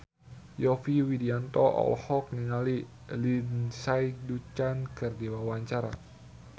Yovie Widianto olohok ningali Lindsay Ducan keur diwawancara